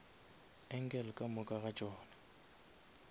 angle ka moka ga tšona